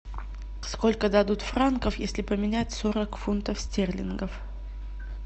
сколько дадут франков если поменять сорок фунтов стерлингов